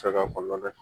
Fɛɛrɛ kɔnɔna na